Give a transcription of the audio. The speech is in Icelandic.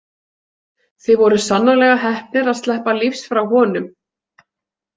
Þið voruð sannarlega heppnir að sleppa lífs frá honum.